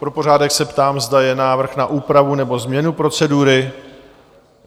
Pro pořádek se ptám, zda je návrh na úpravu nebo změnu procedury?